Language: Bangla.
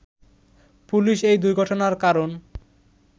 পুলিশ এই দুর্ঘটনার কারণ